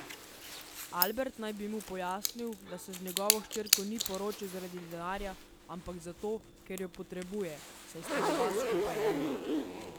Albert naj bi mu pojasnil, da se z njegovo hčerko ni poročil zaradi denarja, ampak zato, ker jo potrebuje, saj sta oba skupaj eno.